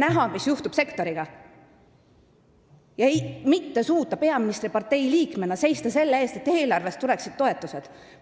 näha, mis sektoriga juhtub, ja mitte suuta peaministripartei liikmena seista selle eest, et eelarvest tuleksid toetused?